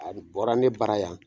Alu bɔra ne bara yan